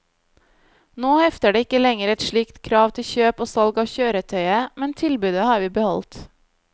Nå hefter det ikke lenger et slikt krav til kjøp og salg av kjøretøyet, men tilbudet har vi beholdt.